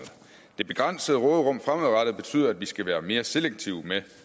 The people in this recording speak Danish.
det begrænsede råderum fremadrettet betyder at vi skal være mere selektive med